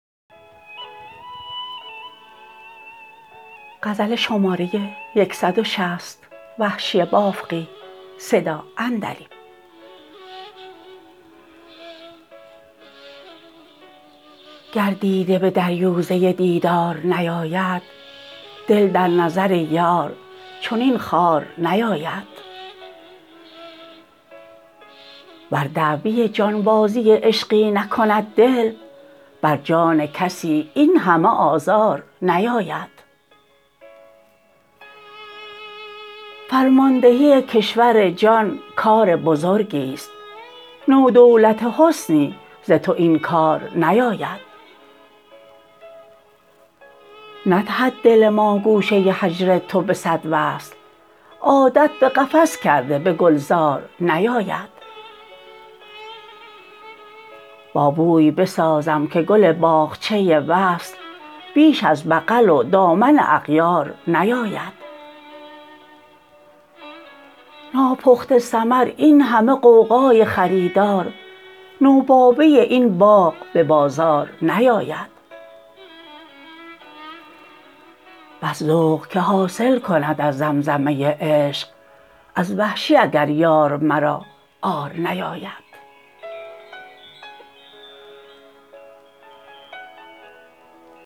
گر دیده به دریوزه دیدار نیاید دل در نظر یار چنین خوار نیاید ور دعوی جانبازی عشقی نکند دل بر جان کسی اینهمه آزار نیاید فرماندهی کشور جان کار بزرگیست تو دولت حسنی ز تو این کار نیاید ندهد دل ما گوشه هجر تو به صد وصل عادت به قفس کرده به گلزار نیاید با بوی بسازم که گل باغچه وصل بیش از بغل و دامن اغیار نیاید ناپخته ثمر این همه غوغای خریدار نوباوه این باغ به بازار نیاید بس ذوق که حاصل کند از زمزمه عشق از وحشی اگر یار مرا عار نیاید